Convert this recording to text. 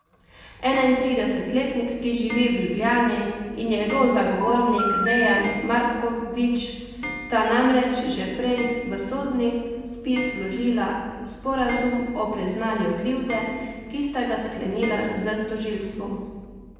Enaintridesetletnik, ki živi v Ljubljani, in njegov zagovornik Dejan Markovič sta namreč že prej v sodni spis vložila sporazum o priznanju krivde, ki sta ga sklenila s tožilstvom.